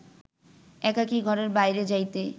একাকী ঘরের বাহিরে যাইতে